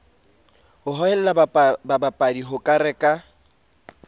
ho hohela babadi ho reka